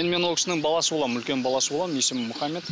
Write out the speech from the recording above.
енді мен ол кісінің баласы боламын үлкен баласы боламын есімім мұхаммед